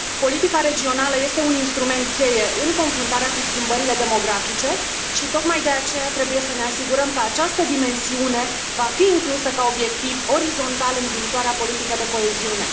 Politica regională este un instrument cheie în confruntarea cu schimbările demografice și, tocmai de aceea, trebuie să ne asigurăm că această dimensiune va fi inclusă ca obiectiv orizontal în viitoarea politică de coeziune.